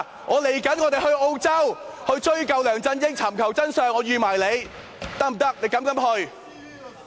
我們即將前往澳洲追究梁振英，尋求真相，我們預你一起去。